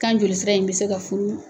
Kan joli sira in bɛ se ka furu.